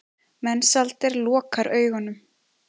Mensalder lokar augunum.